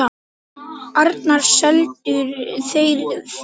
Annars seldu þeir þýfið.